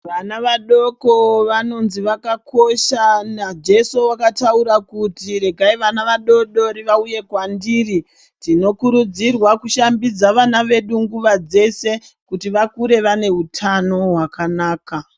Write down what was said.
Vana vadoko vanonzi vakakosha najeso vakataura kuti regai vana vadodori vauye kwandiri. Tinokurudzirwa kushambidza vana vedu nguva dzese kuti vakure vane utano hwakanaka.